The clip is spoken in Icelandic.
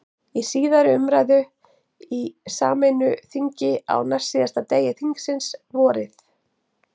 Í síðari umræðu í sameinu þingi, á næstsíðasta degi þingsins, vorið